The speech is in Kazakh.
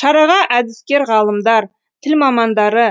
шараға әдіскер ғалымдар тіл мамандары